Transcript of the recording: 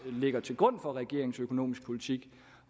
ligger til grund for regeringens økonomiske politik